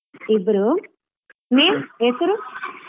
ಇಬ್ರೂ ಹೆಸ್ರು?